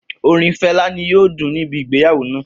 Orin Fẹla ni yoo dun nibi igbeyawo naa.